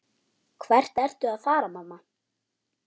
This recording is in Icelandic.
Hvert ertu að fara, mamma?